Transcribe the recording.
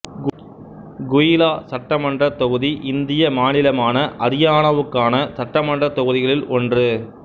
குஹ்லா சட்டமன்றத் தொகுதி இந்திய மாநிலமான அரியானாவுக்கான சட்டமன்றத் தொகுதிகளில் ஒன்று